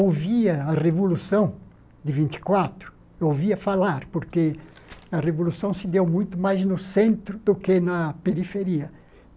ouvia a Revolução de vinte e quatro, ouvia falar, porque a Revolução se deu muito mais no centro do que na periferia.